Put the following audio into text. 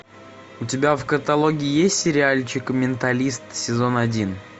у тебя в каталоге есть сериальчик менталист сезон один